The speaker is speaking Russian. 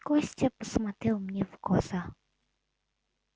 костя посмотрел мне в глаза